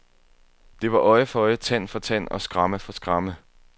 Det var øje for øje, tand for tand og skramme for skramme.